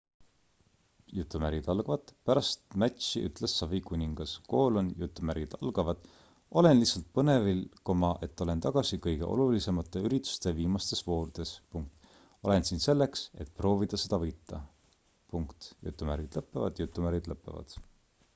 "pärast matši ütles savikuningas: "olen lihtsalt põnevil et olen tagasi kõige olulisemate ürituste viimastes voorudes. olen siin selleks et proovida seda võita.""